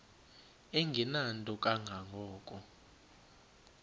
engenanto kanga ko